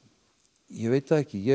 ég veit það ekki ég